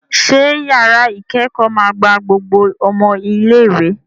Ṣé yàrá ìkẹ́kọ̀ọ́ máa gba gbogbo ọmọ ilé-ìwé?